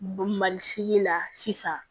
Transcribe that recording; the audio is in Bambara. Mali sigi la sisan